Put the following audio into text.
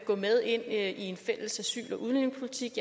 gå med ind i en fælles asyl og udlændingepolitik